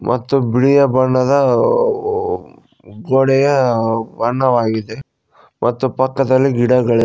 ಮತ್ತು ಬಿಳಿಯ ಬಣ್ಣದ ಗೋಡೆಯ ಬಣ್ಣವಾಗಿದೆ ಮತ್ತು ಪಕ್ಕದಲ್ಲಿ ಗಿಡಗಳಿ --